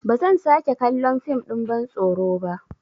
Ba zan sake kallon fim ɗin bantsoro ba.